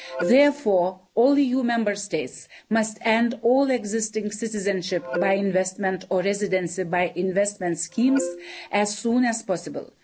Therefore, all EU Member States must end all existing citizenship by investment' or residency by investment' schemes as soon as possible.